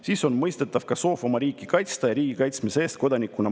Siis on mõistetav ka soov oma riiki kaitsta ja riigi kaitsmise eest kodanikuna maksta.